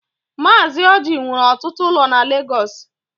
Mazi Ọji nwere ọtụtụ ụlọ na Lagos.